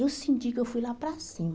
Aí eu senti que eu fui lá para cima.